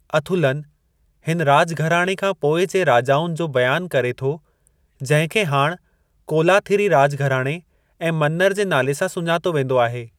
अथुलन हिन राज घराणे खां पोइ जे राजाउनि जो बयानु करे थो जंहिं खे हाण कोलाथिरी राज घराणे ऐं मन्नर जे नाले सां सुञातो वेंदो आहे।